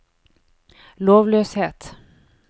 lovløshet